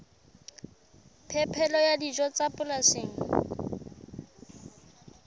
phepelo ya dijo tsa polasing